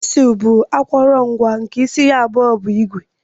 Chizul bu akọrọngwa nke isi abụọ ya bu igwe.